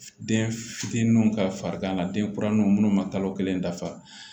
Den fitininw ka farigan na den kuraninw minnu ma kalo kelen dafa